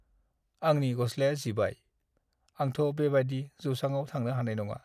आंनि गसलाया जिबाय। आंथ' बेबादि जौसाङाव थांनो हानाय नङा।